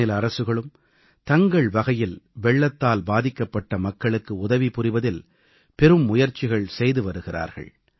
மாநில அரசுகளும் தங்கள் வகையில் வெள்ளத்தால் பாதிக்கப்பட்ட மக்களுக்கு உதவி புரிவதில் பெரும் முயற்சிகள் செய்து வருகிறார்கள்